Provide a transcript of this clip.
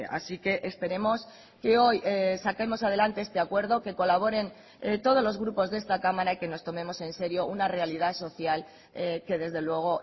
así que esperemos que hoy saquemos adelante este acuerdo que colaboren todos los grupos de esta cámara y que nos tomemos en serio una realidad social que desde luego